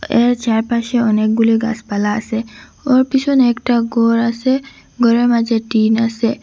এর চারপাশে অনেকগুলি গাসপালা আসে ওর পিছনে একটা ঘর আসে ঘরের মাঝে টিন আসে।